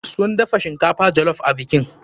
Sun dafa shinkafan jollof a bikin.